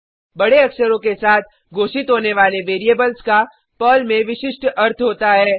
बडे अक्षरों के साथ घोषित होने वाले वेरिएबल्स का पर्ल में विशिष्ट अर्थ होता है